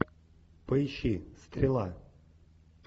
поищи стрела